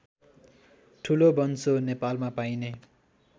ठुलोबन्सो नेपालमा पाइने